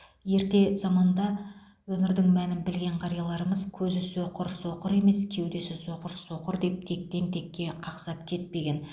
ерте заманда өмірдің мәнін білген қарияларымыз көзі соқыр соқыр емес кеудесі соқыр соқыр деп тектен текке қақсап кетпеген